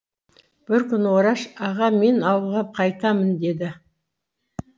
бір күні ораш аға мен ауылға қайтамын деді